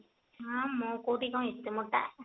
ହଁ ମୁଁ କୋଉଠି କଣ ଏତେ ମୋଟା